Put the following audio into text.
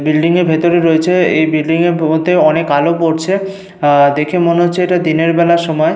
Building এর ভেতরে রয়েছে। এই বিল্ডিং এর ভেতর অনেক আলো পড়ছে। আহ দেখে মনে হচ্ছে এটা দিনের বেলার সময়।